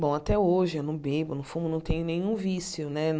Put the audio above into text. Bom, até hoje eu não bebo, não fumo, não tenho nenhum vício, né?